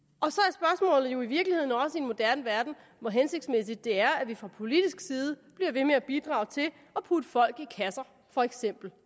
og spørgsmålet jo i virkeligheden også i en moderne verden hvor hensigtsmæssigt det er at vi fra politisk side bliver ved med at bidrage til at putte folk i kasser for eksempel